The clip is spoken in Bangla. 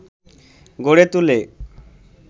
গড়ে তুলে